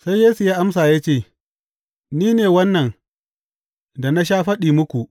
Sai Yesu ya amsa ya ce, Ni ne wannan da na sha faɗi muku.